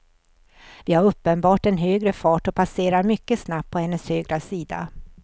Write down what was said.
Vi har uppenbart en högre fart och passerar mycket snabbt på hennes högra sida.